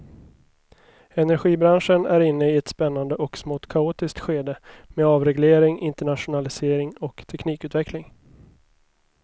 Energibranschen är inne i ett spännande och smått kaotiskt skede med avreglering, internationalisering och teknikutveckling.